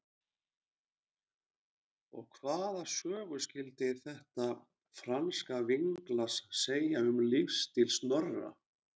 Og hvaða sögu skyldi þetta franska vínglas segja um lífsstíl Snorra?